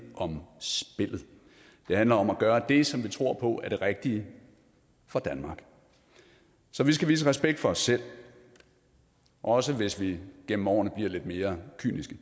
om spillet det handler om at gøre det som vi tror på er det rigtige for danmark så vi skal vise respekt for os selv også hvis vi gennem årene bliver lidt mere kyniske